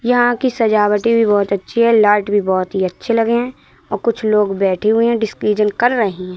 यहां की सजावटें भी बहुत अच्छी है लाइट भी बहुत ही अच्छे लगे हैं और कुछ लोग बैठे हुए हैं डिसीजन कर रहे हैं।